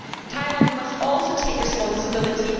Thailand must also take responsibility.